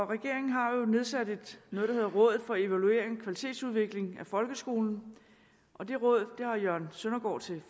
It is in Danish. regeringen har jo nedsat noget der hedder rådet for evaluering og kvalitetsudvikling af folkeskolen og det råd har jørgen søndergaard som